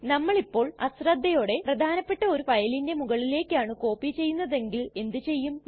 നമ്മളിപ്പോൾ അശ്രദ്ധയോടെ പ്രധാനപെട്ട ഒരു ഫയലിന്റെ മുകളിലേക്കാണ് കോപ്പി ചെയ്യുന്നതെങ്കിൽ എന്ത് ചെയ്യും